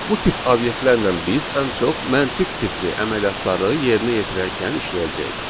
Bu tip obyektlərlə biz ən çox məntiq tipli əməliyyatları yerinə yetirərkən işləyəcəyik.